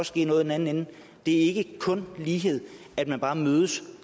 ske noget i den anden ende det er ikke kun lighed at man bare mødes